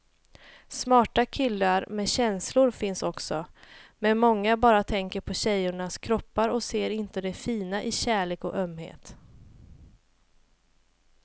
Smarta killar med känslor finns också, men många bara tänker på tjejernas kroppar och ser inte det fina i kärlek och ömhet.